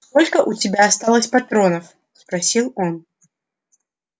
сколько у тебя осталось патронов спросил он